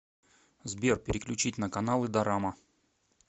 сбер переключить на каналы дорама